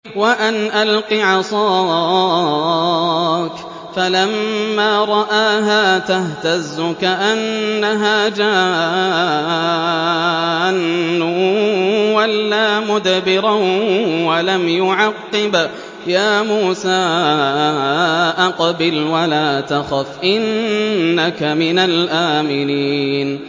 وَأَنْ أَلْقِ عَصَاكَ ۖ فَلَمَّا رَآهَا تَهْتَزُّ كَأَنَّهَا جَانٌّ وَلَّىٰ مُدْبِرًا وَلَمْ يُعَقِّبْ ۚ يَا مُوسَىٰ أَقْبِلْ وَلَا تَخَفْ ۖ إِنَّكَ مِنَ الْآمِنِينَ